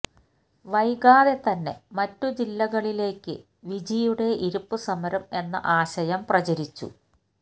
വൈകാതെ തന്നെ മറ്റു ജില്ലകളിലേക്ക് വിജിയുടെ ഇരിപ്പ് സമരം എന്ന ആശയം പ്രചരിച്ചു